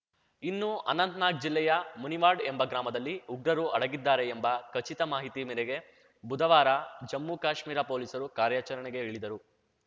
ಇನ್ನು ಅನಂತ್ ನಾಗ್‌ ಜಿಲ್ಲೆಯ ಮುನಿವಾಡ್‌ ಎಂಬ ಗ್ರಾಮದಲ್ಲಿ ಉಗ್ರರು ಅಡಗಿದ್ದಾರೆ ಎಂಬ ಖಚಿತ ಮಾಹಿತಿ ಮೇರೆಗೆ ಬುಧವಾರ ಜಮ್ಮುಕಾಶ್ಮೀರ ಪೊಲೀಸರು ಕಾರ್ಯಾಚರಣೆಗೆ ಇಳಿದರು